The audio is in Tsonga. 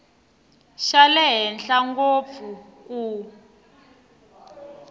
xa le henhla ngopfu ku